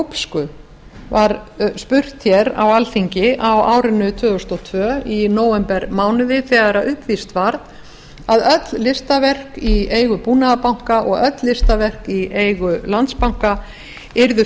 glópsku var spurt hér á alþingi á árinu tvö þúsund og tvö í nóvembermánuði þegar uppvíst varð að öll listaverk í eigu búnaðarbanka og öll listaverk í eigu landsbanka yrðu